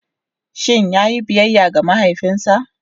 Shin ya yi biyayya ga mahaifinsa?